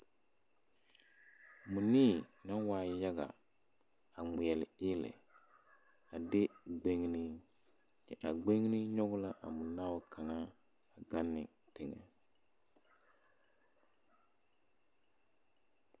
Mͻnii naŋ waa yaga, a ŋmeԑle eelԑ. A de gbeŋinii. Kyԑ a gbeŋini nyͻge la a mͻnaao kaŋa gaŋ ne teŋԑ.